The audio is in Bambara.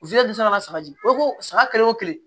saba di e ko saga kelen o kelen